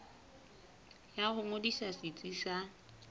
ya ho ngodisa setsi sa